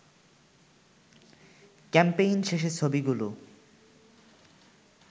campaign শেষে ছবিগুলো